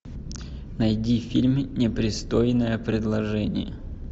найди фильм непристойное предложение